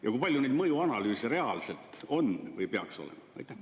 Ja kui palju neid mõjuanalüüse reaalselt on või peaks olema?